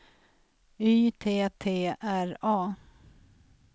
Y T T R A